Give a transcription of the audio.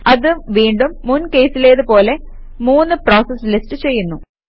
അത് വീണ്ടും മുൻ കേസിലേത് പോലെ മൂന്ന് പ്രോസസസ് ലിസ്റ്റ് ചെയ്യുന്നു